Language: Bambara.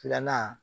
Filanan